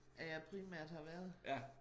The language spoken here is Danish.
At jeg primært har været